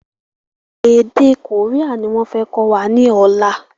Èdè kórìà ni wọn fẹ kọ́ wa ni ọ̀la.